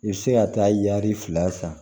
I bɛ se ka taa yari fila san